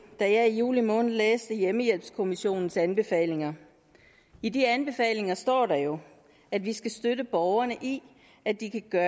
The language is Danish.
da jeg i juli måned læste hjemmehjælpskommissionens anbefalinger i de anbefalinger står der jo at vi skal støtte borgerne i at de kan gøre